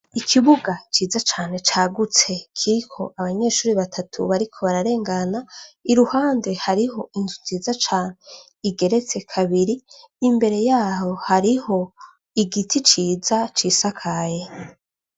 Ikibuga ciza cane cagutse kiriko abanyeshuri batatu bariko bararengana i ruhande hariho inzu nziza cane igeretse kabiri imbere yaho hariho igiti ciza cisakaye.